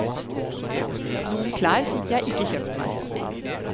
Noen klær fikk jeg ikke kjøpt meg.